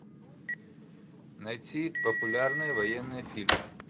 найти популярные военные фильмы